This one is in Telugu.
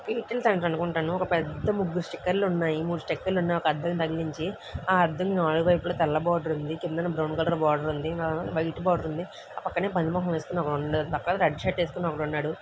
ఏ_టీ_ఎం సెంటర్ అనుకుంటాను ఒక పెద్ద ముగ్గు స్టిక్కర్ ఉన్నాయి మూడు స్టిక్కర్ లు ఉన్నాయి ఒక అందానికి తగిలించి ఆ దానికి నాలుగు వైపులా తెల్ల బోర్డర్ కిందన బ్రౌన్ కలర్ బార్డర్ ఉంది నడుమన వైట్ బార్డర్ ఉంది ఆ పక్కనే ఒక పంది మొహం వేసుకొని ఒకడు ఉండు రెడ్డి షర్ట్ వేసుకొని ఒకడున్నాడు